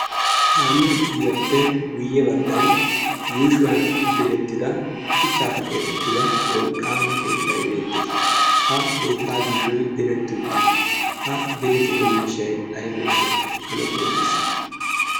kaame ogiyaappe guyye baggan yuushuwan direttida shuchchaafa keetettida wolqqaama keettai beettees. ha keettaa yuushoi diretti uttiis. ha direttido miishai aibeeshsha ane qonccissa?